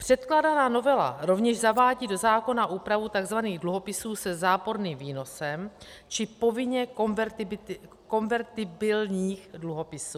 Předkládaná novela rovněž zavádí do zákona úpravu tzv. dluhopisů se záporným výnosem či povinně konvertibilních dluhopisů.